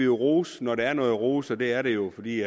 rose når der er noget at rose og det er der jo fordi